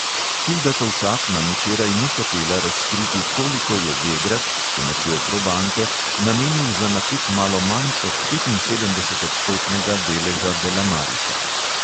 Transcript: Hilda tovšak nam včeraj ni hotela razkriti, koliko je vegrad (s pomočjo probanke) namenil za nakup malo manj kot petinsedemdesetodstotnega deleža delamarisa.